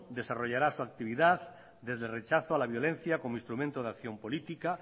desarrollará su actividad desde el rechazo a la violencia como instrumento de acción política